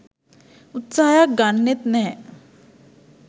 උත්සාහයක් ගන්නෙත් නෑ.